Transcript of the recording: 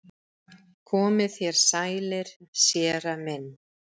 Komið þér sælir séra minn